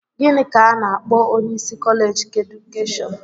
Gịnị ka a na-akpọ onyeisi kọleeji keedukeshọn?